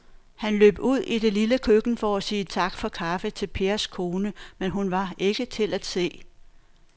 Han løb ud i det lille køkken for at sige tak for kaffe til Pers kone, men hun var ikke til at se.